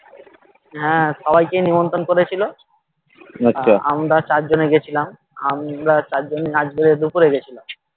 হ্যাঁ সবাই কে নিমন্ত্রণ করেছিল আমরা চার জনে গেছিলাম আমরা চার জনে আজ গেরে দুপুরে গেছিলাম